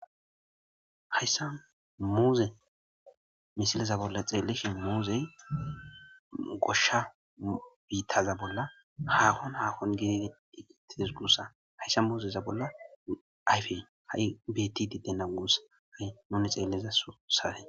hayssa muuze misileza bolla xeellishi muuzey goshsha biittaza bolla haakon hakon gedidi egitides gusa hayssa muuzeza bolla ayfey ha'i betidi dena gusa ha'i nuni xeelleza sosawun